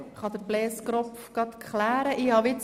Vielleicht kann Blaise Kropf die Sache klären.